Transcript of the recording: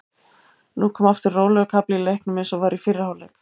Nú kom aftur rólegur kafli í leiknum eins og var í fyrri hálfleik.